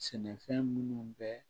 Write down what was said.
Sɛnɛfɛn minnu bɛ